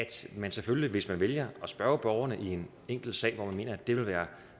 man selvfølgelig også hvis man vælger at spørge borgerne i en enkelt sag hvor man mener at det vil være